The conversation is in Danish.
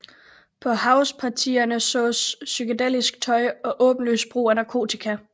På housepartierne sås psykedelisk tøj og åbenlys brug af narkotika